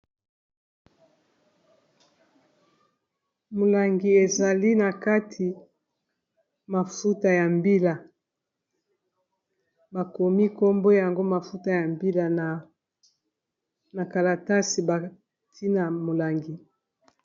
Molangi ezali na kati mafuta ya mbila bakomi nkombo yango mafuta ya mbila na kalatasi bantina molangi.